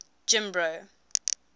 jimbro